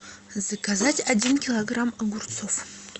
заказать один килограмм огурцов